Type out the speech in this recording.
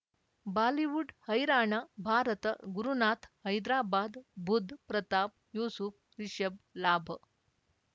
Bollywood Haryana Bharat Gurunath Hyderabad Budh Pratap Yusuf Rishabh Labh